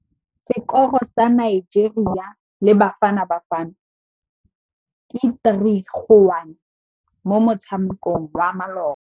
Sekôrô sa Nigeria le Bafanabafana ke 3-1 mo motshamekong wa malôba.